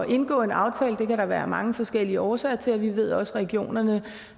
indgå en aftale kan der være mange forskellige årsager til og vi ved også at regionerne